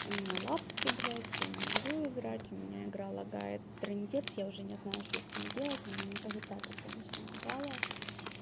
у меня лапки блядь я не могу играть у меня игра лагает сильно я уже не знаю что с ней делать она никогда так раньше не лагала